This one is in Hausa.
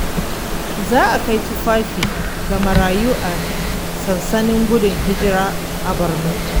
Za a kai tufafi ga marayu a sansanin gudun hijira a Borno.